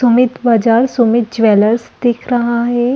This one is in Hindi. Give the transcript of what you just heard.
सुमित बजाज सुमित ज्वेलर्स दिख रहा है।